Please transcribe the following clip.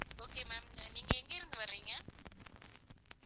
Okay ma'am நீங்க எங்க இருந்து வரிங்க